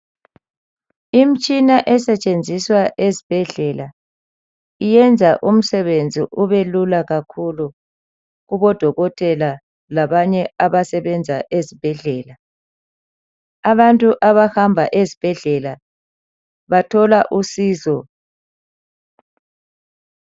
Imtshina esetshenziswa ezibhedlela iyenza umsebenzi ubelula kakhulu kubodokotela labanye abasebenza ezibhedlela. Abantu abahamba ezibhedlela bathola usizo.